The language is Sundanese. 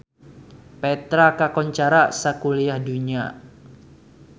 Petra kakoncara sakuliah dunya